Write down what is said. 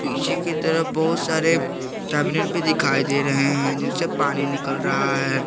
पीछे के तरफ बहोत सारे टबिनेंट भी दिखाई दे रहे हैं जिनसे पानी निकल रहा है।